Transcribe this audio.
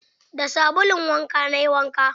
Da sabulun wanka na yi wanka.